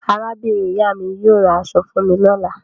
Arábìnrin-ìyá mi yóò ra aṣọ fún mi lọ́la.